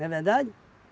Não é verdade?